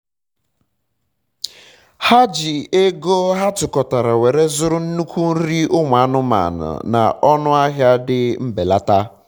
ha ji ego ha ji ego ha tukọtara were zụrụ nnukwu nri ụmụ anụmanụ na ọnụ ahịa dị mbelata